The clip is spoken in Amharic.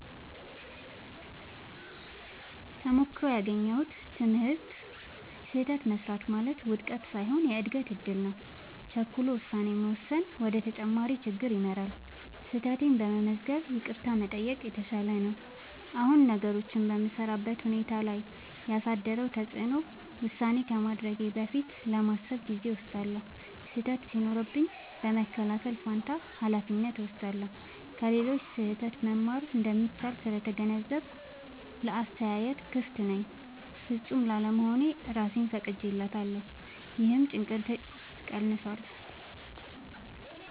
ተሞክሮው ያገኘሁት ትምህርት፦ · ስህተት መሥራት ማለት ውድቀት ሳይሆን የእድገት እድል ነው። · ቸኩሎ ውሳኔ መወሰን ወደ ተጨማሪ ችግር ይመራል። · ስህተቴን በመገንዘብ ይቅርታ መጠየቅ የተሻለ ነው። አሁን ነገሮችን በምሠራበት ሁኔታ ላይ ያሳደረው ተጽዕኖ፦ · ውሳኔ ከማድረጌ በፊት ለማሰብ ጊዜ እወስዳለሁ። · ስህተት ሲደርስብኝ በመከላከል ፋንታ ኃላፊነት እወስዳለሁ። · ከሌሎች ስህተት መማር እንደሚቻል ስለተገነዘብኩ ለአስተያየት ክፍት ነኝ። · ፍጹም ላለመሆን እራሴን ፈቅጄለታለሁ — ይህም ጭንቀቴን ቀንሷል።